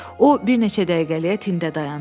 O bir neçə dəqiqəliyə tində dayandı.